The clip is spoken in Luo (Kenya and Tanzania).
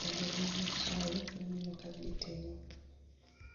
e aluora mar masai maneno ka gitimo